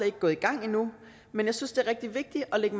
ikke gået i gang endnu men jeg synes det er rigtig vigtigt at lægge